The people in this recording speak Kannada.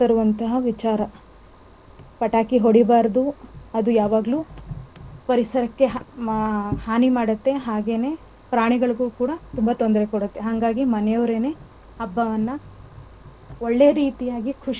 ಅದು ಯಾವಾಗಲೂ ಪರಿಸರಕ್ಕೆ ಹಾನಿ ಮಾಡುತ್ತೆ ಹಾಗೇನೇ ಪ್ರಾಣಿಗಳಗು ಕೂಡ ತುಂಬಾ ತೊಂದರೆ ಕೊಡುತ್ತೇ. ಅಂಗಾಗಿ ಮನೆವರೇನೆ ಹಬ್ಬವನ್ನ ಒಳ್ಳೆ ರೀತಿಯಾಗಿ ಖುಷ್~ ಖುಷಿಯಾಗಿ ಸಂತೋಷದಿಂದ ಆಚರಿಸಬೇಕು ಅನ್ನೋದು ನನ್ನ.